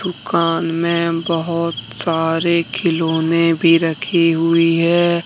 दूकान में बहुत सारे खिलौने भी रखी हुई है।